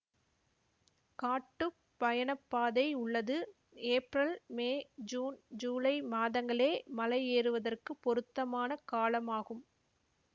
காட்டுப் பயணப்பாதை உள்ளது ஏப்ரல் மே ஜூன் ஜூலை மாதங்களே மலை ஏறுவதற்கு பொருத்தமான காலம் ஆகும்